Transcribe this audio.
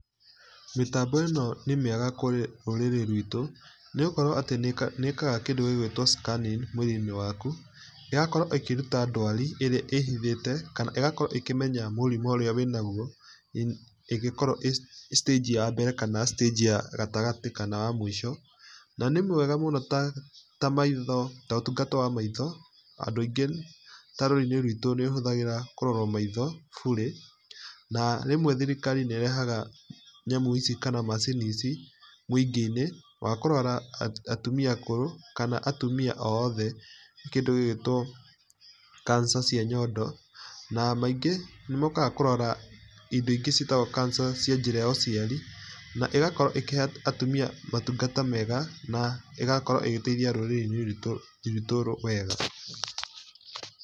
Mĩtambo ĩno nĩ miega kũrĩ rũrĩrĩ rwitũ, nĩgũkorwo atĩ nĩĩkaga kĩndũ gĩgwĩtwo scanning mwĩrĩ-inĩ wakũ ĩgakorwo ĩkĩrũta ndwarĩ ĩrĩa ĩhĩthĩte kana ĩgakorwo ĩkĩmenya mũrĩmũ ũrĩa wĩnagũo, ĩgĩkorwo ĩ citanji ya mbere kana citanji ya gatagatĩ kana ya mũico, na nĩ mwega mũno ta maitho ta ũtũgata wa maĩtho, andũ aĩngi ta rũrĩrĩ-inĩ rwitũ nĩũhũthagĩra kũrorwo maĩtho bure, na rĩmwe thĩrĩkarĩ nĩerehaga nyamũ ĩcĩ kana macini ici mũingĩ-inĩ, wa kũrora atũmĩa akũrũ kana atũmĩa oothe kĩndũ gĩgwĩtwo cancer cĩa nyondo, na maingĩ nĩ mokaga kũrora indo ingĩ ciĩtagwo cancer cia njĩra ya ũciari, naĩgakorwo ĩkĩhe atumia maũtugata mega na ĩgakorwo ĩgĩteithia rũrĩrĩ-ini rwitu rwitu wega.